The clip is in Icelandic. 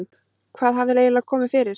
Hvað hafði eiginlega komið fyrir?